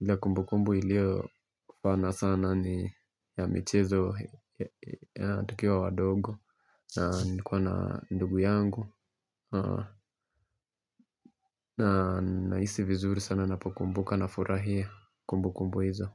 ile kumbu kumbu iliyo fana sana ni ya michezo ya tukiwa wadogo na nilikuwa na ndugu yangu na nahisi vizuri sana napokumbuka na furahia kumbu kumbu hizo.